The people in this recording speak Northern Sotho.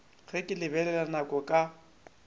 ge ke lebelela nako ka